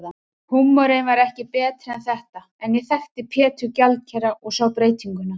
Húmorinn var ekki betri en þetta, en ég þekkti Pétur gjaldkera og sá breytinguna.